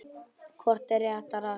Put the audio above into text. Hvort er réttara að segja